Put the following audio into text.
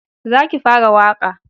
Za ki fara waƙa!